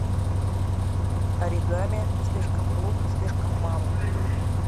оригами слишком глупо слишком мало